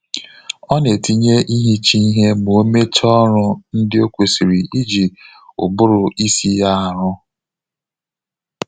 Ọ na etinye ihicha ihe ma omecha ọrụ ndị o kwesịrị iji ụbụrụ isi ya aru